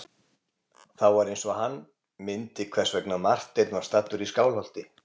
Þá var eins og hann myndi hvers vegna Marteinn var staddur í Skálholti.